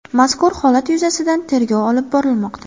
Mazkur holat yuzasidan tergov olib borilmoqda.